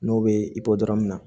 N'o bɛ i bɔ dɔrɔn na